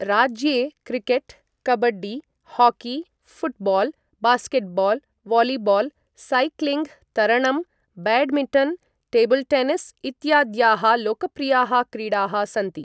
राज्ये cricket, kabaddi, hockey, football, basketball, volleyball, cycling, तरणं, badminton, table tennis इत्याद्याः लोकप्रियाः क्रीडाः सन्ति।